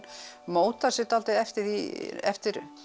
mótar sig dálítið eftir því eftir